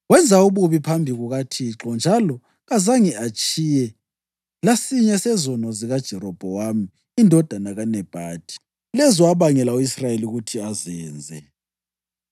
Wenza ububi phambi kukaThixo njalo kazange atshiye lasinye sezono zikaJerobhowamu indodana kaNebhathi, lezo abangela u-Israyeli ukuthi azenze.